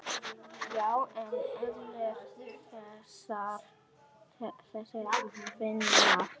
Já en allir þessir Finnar.